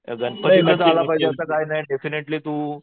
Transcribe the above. गणपतीलाच आलं पाहिजे असं काही नाही डेफिनेटली तू